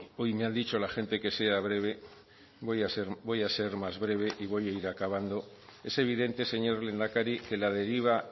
hoy me ha dicho la gente que sea breve voy a ser más breve y voy a ir acabando es evidente señor lehendakari que la deriva